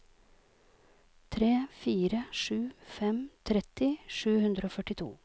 tre fire sju fem tretti sju hundre og førtito